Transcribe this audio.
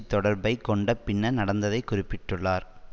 தொடர்பை கொண்ட பின்னர் நடந்ததைக் குறிப்பிட்டுள்ளார்